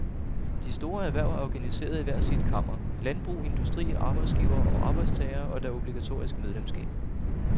De store erhverv er organiseret i hver sit kammer, landbrug, industri, arbejdsgivere og arbejdstagere, og der er obligatorisk medlemsskab.